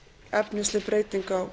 efnisleg breyting á